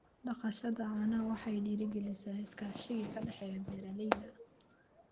Dhaqashada caanaha waxay dhiirigelisaa iskaashiga ka dhexeeya beeralayda.